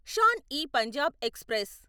Shan e Punjab express